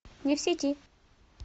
не в сети